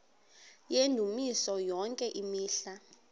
yendumiso yonke imihla